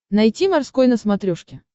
найти морской на смотрешке